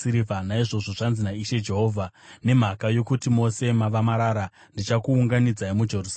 Naizvozvo zvanzi naIshe Jehovha, ‘Nemhaka yokuti mose mava marara, ndichakuunganidzai muJerusarema.